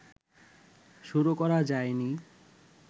শুরু করা যায় নি